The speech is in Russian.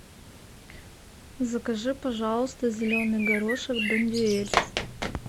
закажи пожалуйста зеленый горошек бондюэль